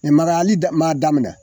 daminɛ